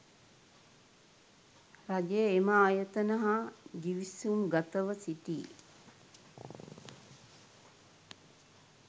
රජය එම ආයතන හා ගිවිසුම්ගතව සිටී